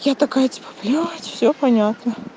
я такая типа блять всё понятно